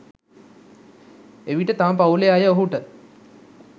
එවිට තම පවුලේ අය ඔහුට